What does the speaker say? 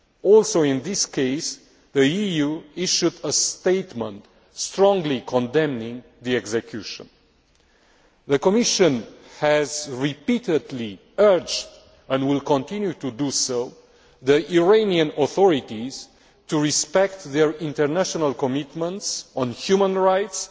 Also in this case the EU issued a statement strongly condemning the execution. The Commission has repeatedly urged, and will continue to do so, the Iranian authorities to respect their international commitments on human rights,